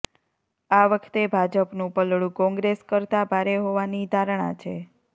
આ વખતે ભાજપનું પલડુ કોંગ્રેસ કરતા ભારે હોવાની ધારણા છે